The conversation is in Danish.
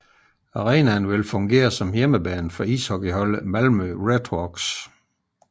Arenaen vil fungere som hjemmebane for ishockeyholdet Malmö Redhawks